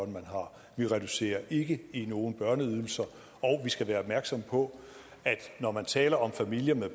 man har vi reducerer ikke nogen børneydelser og vi skal være opmærksomme på at når man taler om familier med